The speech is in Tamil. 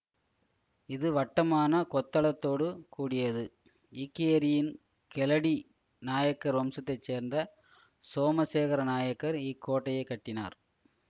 இது வட்டமான கொத்தளத்தோடு கூடியது ஈக்கேரியின் கெலடி நாயக்கர் வம்சத்தை சேர்ந்த சோமசேகர நாயக்கர் இக்கோட்டையைக் கட்டினார்